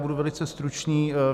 Budu velice stručný.